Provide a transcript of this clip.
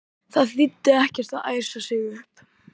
Það þýddi ekkert að æsa sig upp.